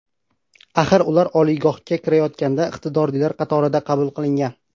Axir ular ham oliygohga kirayotganda iqtidorlilar qatorida qabul qilingan.